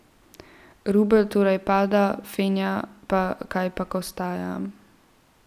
Rubelj torej pada, fenja pa kajpak ostaja.